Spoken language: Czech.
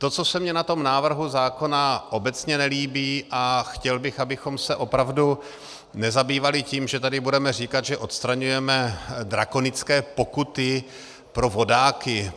To, co se mně na tom návrhu zákona obecně nelíbí, a chtěl bych, abychom se opravdu nezabývali tím, že tady budeme říkat, že odstraňujeme drakonické pokuty pro vodáky.